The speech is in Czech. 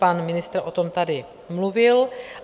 Pan ministr o tom tady mluvil.